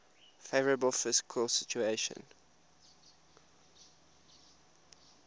favourable fiscal situation